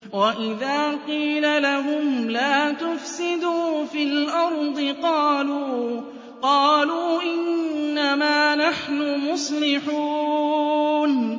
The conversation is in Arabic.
وَإِذَا قِيلَ لَهُمْ لَا تُفْسِدُوا فِي الْأَرْضِ قَالُوا إِنَّمَا نَحْنُ مُصْلِحُونَ